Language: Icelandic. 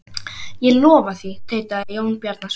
Ég lofa því, tautaði Jón Bjarnason.